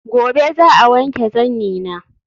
Gobe ​​za'a wanke zannina